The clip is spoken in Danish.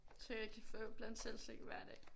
Så jeg kan få bland selv slik hver dag